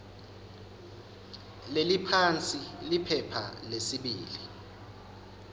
leliphansi liphepha lesibili